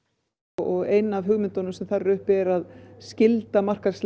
og ein af hugmyndunum sem þar er uppi er að skylda